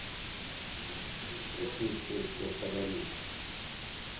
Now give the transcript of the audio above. включи песню подари